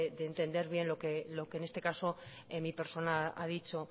de entender bien lo que en este caso en mi persona ha dicho